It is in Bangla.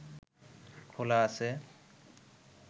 খোলা আছে